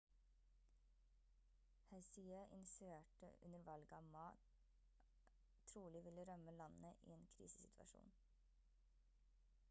hsieh insinuerte under valget at ma trolig ville rømme landet i en krisesituasjon